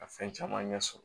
Ka fɛn caman ɲɛ sɔrɔ